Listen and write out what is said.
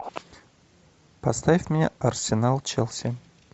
поставь мне арсенал челси